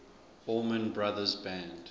allman brothers band